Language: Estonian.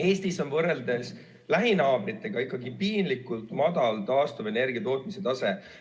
Eestis on võrreldes lähinaabritega ikkagi piinlikult madalal taastuvenergia tootmise tase.